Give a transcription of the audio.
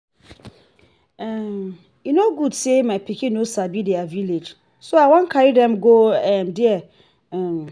um e no good say my pikin no sabi their village so i wan carry dem go um there um